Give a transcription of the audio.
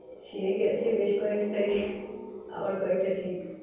সে গেছে বেশ কয়েকটাই, আবার কয়েকটা ঠিক।